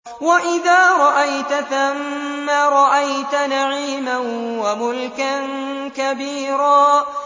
وَإِذَا رَأَيْتَ ثَمَّ رَأَيْتَ نَعِيمًا وَمُلْكًا كَبِيرًا